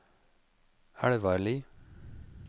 Elvarli